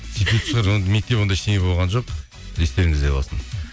сөйтетін шығар мектеп ондай ештеңе болған жоқ естеріңізде болсын